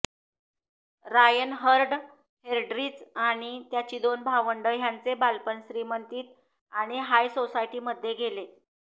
Reinhard Heydrich आणि त्याची दोन भावंडं ह्यांचे बालपण श्रीमंतीत आणि हाय सोसायटीमध्ये गेले